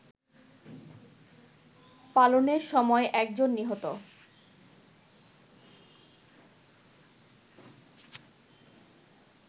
পালনের সময় একজন নিহত